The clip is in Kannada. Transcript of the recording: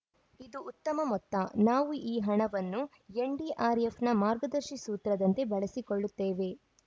ಇದು ಉತ್ತಮ ಮೊತ್ತ ನಾವು ಈ ಹಣವನ್ನು ಎನ್‌ಡಿಆರ್‌ಎಫ್‌ನ ಮಾರ್ಗದರ್ಶಿ ಸೂತ್ರದಂತೆ ಬಳಸಿಕೊಳ್ಳುತ್ತೇವೆ